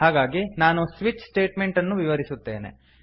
ಹಾಗಾಗಿ ನಾನು switch statement ಅನ್ನು ವಿವರಿಸುತ್ತೇನೆ